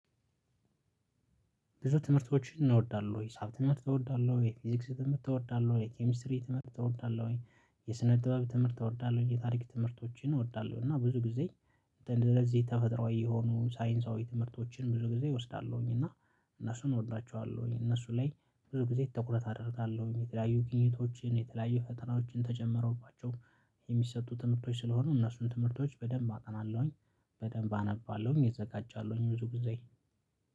ብዙ ትምህርቶችን እኔ እወዳለሁ ሂሳብ ትምህርት እወዳለሁ የፊዚክስ ትምህርት እወዳለሁ የ ኬሚስትሪ ትምህርት እወዳለሁኝ የ ስነ ጥበብ ትምህርት እወዳለሁ የታሪክ ትምህርቶችን እወዳለሁ። እና ብዙ ጊዜ እንድ ለዚህ ተፈጥሯዊ የሆኑ ሳይንሳዊ ትምህርቶችን ብዙ ጊዜ እወስዳለሁኝ እና እነሱን እወዳቸዋለሁኝ እነሱ ላይ ብዙ ጊዜ ትኩረት አደርጋለሁኝ። የተለያዩ ግኝቶችን የተለያዩ ፈተናዎችን ተጨምረውባቸው የሚሰጡ ትምህርቶች ስለሆኑ እነሱን ትምህርቶች በደንብ አጠናለሁኝ። በደንብ አነባለሁኝ እዘጋጃለሁኝ ብዙ ጊዜ